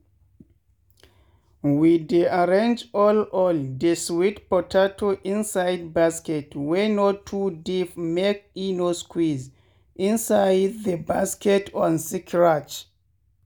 we dey arrange all all de sweet potato inside basket wey no too deep make e no squeeze inside the basket con scratch.